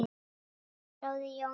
Kæri bróðir, Jón Páll.